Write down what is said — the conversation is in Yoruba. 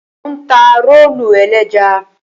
Mò ń ta rólù ẹlẹ́ja.